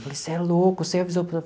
Você é louco, você avisou para ela?